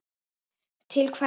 Til hverra?